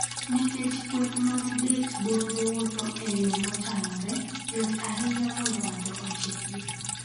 Nikech kweth mag det-bonyo wuotho e yo mochanore, yot ahinya mondo ng'ato ochikgi.